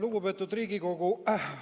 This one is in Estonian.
Lugupeetud Riigikogu!